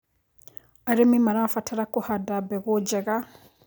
Arĩmĩ marabatara kũhanda mbegũ njega